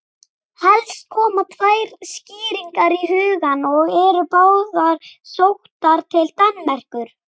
Helst koma tvær skýringar í hugann og eru báðar sóttar til Danmerkur.